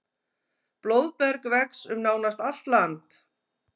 Blóðberg vex um nánast allt land.